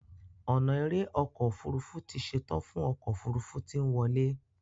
ona èrè ọkọ òfurufú tí ṣetan fún ọkọ òfurufú tí nwọle.